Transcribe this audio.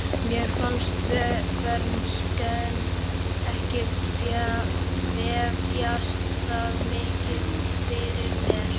Mér fannst bernskan ekki vefjast það mikið fyrir mér.